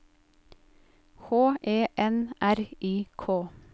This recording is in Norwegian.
H E N R I K